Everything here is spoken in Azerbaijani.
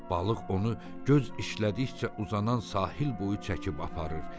Balıq onu göz işlədikcə uzanan sahil boyu çəkib aparır.